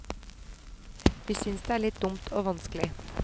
Vi synes det er litt dumt og vanskelig.